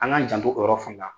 An k'an janto o yɔrɔ fana la.